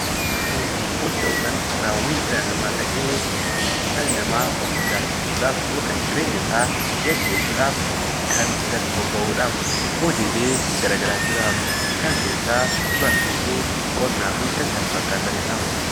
Hojii jechuun gocha yookaan raawwii dhala namaa ta'ee, dhalli namaa of jiraachisuu dhaaf yookaan jireenya isaa geggeessuu dhaaf kan irratti bobba'u dhaam. Hojiilee gara garaa jiraam. Isaan keessaa Barsiisuu, Qonnaa fi kan kana fakkaatani dha.